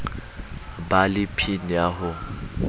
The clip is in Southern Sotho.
ba le pin ya ho